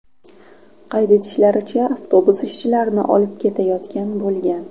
Qayd etishlaricha, avtobus ishchilarni olib ketayotgan bo‘lgan.